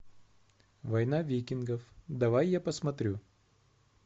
война викингов давай я посмотрю